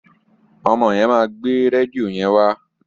Ọmọ yẹn máa gbé rédíò yẹn wa.